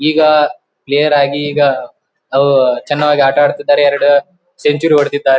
ಈಗ ಪ್ಲೆಯರ್ ಆಗಿ ಈಗ ಅವು ಚನ್ನವಾಗಿ ಆಟಾ ಆಡ್ತಿದ್ದಾರೆ ಎರಡು ಸೆಂಚುರಿ ಹೊಡದಿದ್ದಾ --